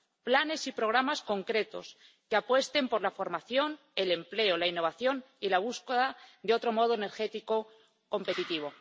Planes y programas concretos que apuesten por la formación, el empleo, la innovación y la búsqueda de otro modo energético competitivo.